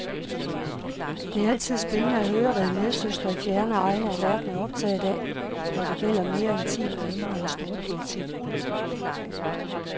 Det er altid spændende at høre, hvad medsøstre i fjerne egne af verden er optaget af, når det gælder mere intime emner end storpolitik.